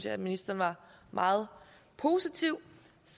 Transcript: at ministeren var meget positiv